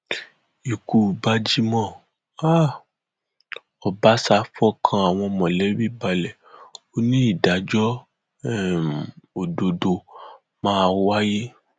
ikú bajímọ um ọbaṣá fọkàn àwọn mọlẹbí balẹ ó ní ìdájọ um òdodo máa wáyé